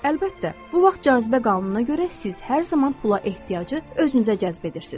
Əlbəttə, bu vaxt cazibə qanununa görə siz hər zaman pula ehtiyacı özünüzə cəzb edirsiz.